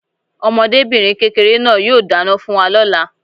Ọmọdébìnrin kékeré náà yóò dáná fún wa lóla